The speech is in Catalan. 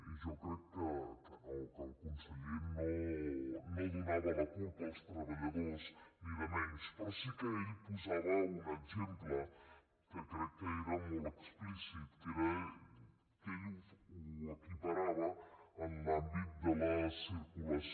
i jo crec que no que el conseller no en donava la culpa als treballadors ni molt menys però sí que ell posava un exemple que crec que era molt explícit que era que ell ho equiparava en l’àmbit de la circulació